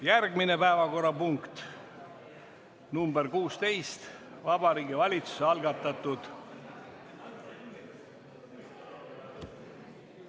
Järgmine päevakorrapunkt on nr 16: Vabariigi Valitsuse algatatud ...